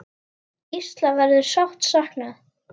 Gísla verður sárt saknað.